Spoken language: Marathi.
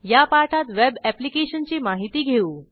या पाठात वेब ऍप्लिकेशनची माहिती घेऊ